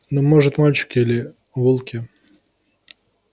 ну может мальчик или волки